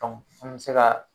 an mɛ se ka